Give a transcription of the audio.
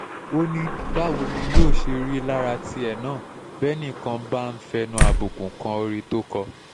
ó ní báwo ni yóò ṣe rí lára tìẹ náà bẹ́nì kan bá ń fẹnu àbùkù kan orin tó kọ